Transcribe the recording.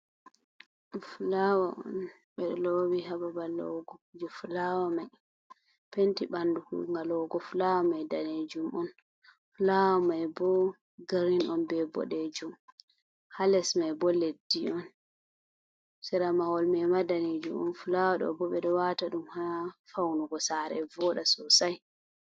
Fulawa on ɓeɗo lowi ha babal lowugo kuje fulawa mai. Penti ɓandu kuunga lowugo fulawa mai danejum on. fulawa mai bo girin on be ɓoɗejum. Ha les mai bo leddi on. Sera mahol mai ma danejum on. Fulawa ɗo bo ɓeɗo wata ɗum ha faunugo sare voda sosai.